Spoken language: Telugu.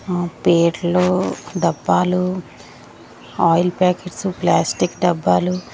మ్ పేట్లు డబ్బాలు ఆయిల్ ప్యాకెట్స్ ప్లాస్టిక్ డబ్బాలు --